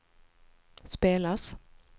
spelas